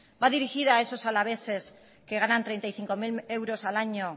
va dirigida a esos alaveses que ganan treinta y cinco mil euros al año